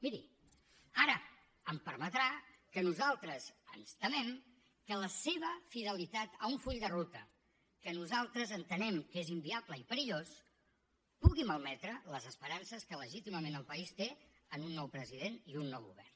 miri ara em permetrà que nosaltres ens temem que la seva fidelitat a un full de ruta que nosaltres entenem que és inviable i perillós pugui malmetre les esperances que legítimament el país té en un nou president i un nou govern